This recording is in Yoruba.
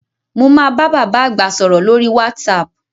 Mo máa bá bàbá àgbà sọ̀rọ̀ lórí "WhatsApp"